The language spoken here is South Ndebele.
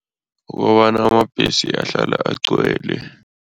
Kukobana amabhesi ahlala agcwele.